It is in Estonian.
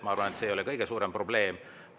Ma arvan, et see ei ole küll kõige suurem probleem.